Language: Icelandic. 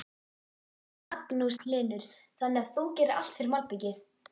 Magnús Hlynur: Þannig að þú gerir allt fyrir malbikið?